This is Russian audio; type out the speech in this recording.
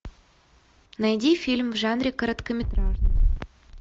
найди фильм в жанре короткометражный